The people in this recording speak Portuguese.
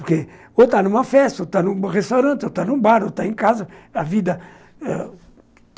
Ou está numa festa, ou está num restaurante, ou está num bar, ou está em casa. A vida